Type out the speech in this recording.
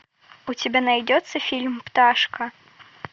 у тебя найдется фильм пташка